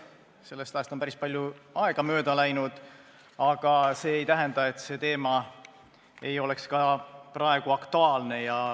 Sellest ajast on päris palju aega mööda läinud, aga see ei tähenda, et teema ei oleks ka praegu aktuaalne.